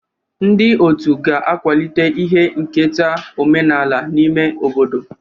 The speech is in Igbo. Ndị otu ga-akwalite ihe nketa omenala n'ime obodo.